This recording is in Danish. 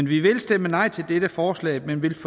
vi vil stemme nej til dette forslag men vi vil